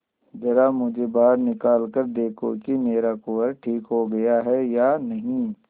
जरा मुझे बाहर निकाल कर देखो कि मेरा कुंवर ठीक हो गया है या नहीं